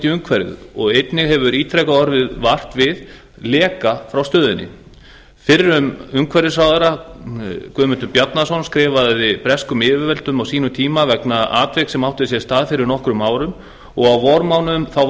umhverfið og einnig hefur ítrekað orðið vart við leka frá stöðinni fyrrum umhverfisráðherra guðmundur bjarnason skrifaði breskum yfirvöldum á sínum tíma vegna atviks sem átti sér stað fyrir nokkrum árum og á vormánuðum